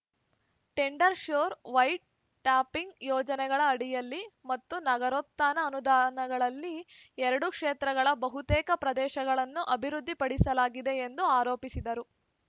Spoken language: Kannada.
ಟೆಂಡರ್ ಶ್ಯೂರ್ ವೈಟ್ ಟಾಪಿಂಗ್ ಯೋಜನೆಗಳ ಅಡಿಯಲ್ಲಿ ಮತ್ತು ನಗರೋತ್ಥಾನ ಅನುದಾನಗಳಲ್ಲಿ ಎರಡು ಕ್ಷೇತ್ರಗಳ ಬಹುತೇಕ ಪ್ರದೇಶಗಳನ್ನು ಅಭಿವೃದ್ಧಿ ಪಡಿಸಲಾಗಿದೆ ಎಂದು ಆರೋಪಿಸಿದರು